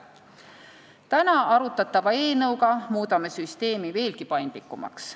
Täna arutatava eelnõuga muudame süsteemi veelgi paindlikumaks.